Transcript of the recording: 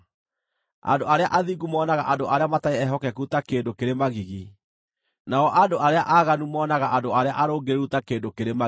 Andũ arĩa athingu monaga andũ arĩa matarĩ ehokeku ta kĩndũ kĩrĩ magigi; nao andũ arĩa aaganu moonaga andũ arĩa arũngĩrĩru ta kĩndũ kĩrĩ magigi.